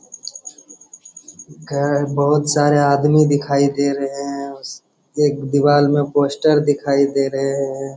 बहुत सारे आदमी दिखाई दे रहे हैं एक दीवाल में पोस्ट दिखाई दे रहे हैं।